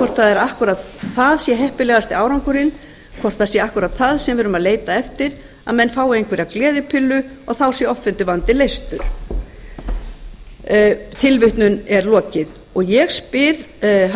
spurning hvort akkúrat það sé heppilegasti árangurinn hvort það sé akkúrat það sem við erum að leita eftir að menn fái einhverjar gleðipillu og þá sé offituvandinn leystur ég spyr